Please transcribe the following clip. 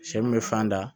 Sɛ min bɛ fan da